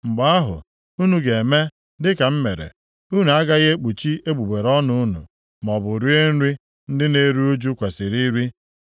Mgbe ahụ, unu ga-eme dịka m mere. Unu agaghị ekpuchi egbugbere ọnụ unu, maọbụ rie nri ndị na-eru ụjụ kwesiri iri.